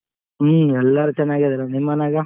ಹ್ಮ್ ಎಲ್ಲಾರು ಚೆನ್ನಾಗಿದಾರ ನಿಮ್ ಮನ್ಯಾಗ?